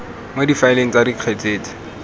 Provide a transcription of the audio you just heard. mo difaeleng tsa dikgetse tse